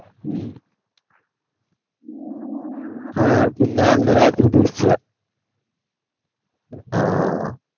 ഹും ആ പിന്ന അന്ന് രാത്രി തിരിച്യ ആ